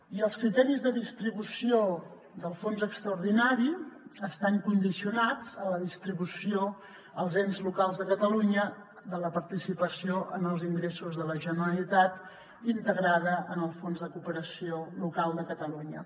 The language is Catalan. i els criteris de distribució del fons extraordinari estan condicionats a la distribució als ens locals de catalunya de la participació en els ingressos de la generalitat integrada en el fons de cooperació local de catalunya